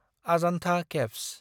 Ajanta caves